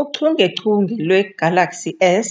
Uchungechunge lwe-Galaxy S